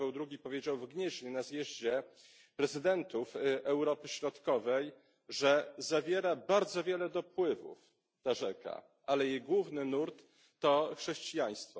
Jan Paweł II powiedział w Gnieźnie na zjeździe prezydentów Europy Środkowej, że zawiera bardzo wiele dopływów ta rzeka, ale jej główny nurt to chrześcijaństwo.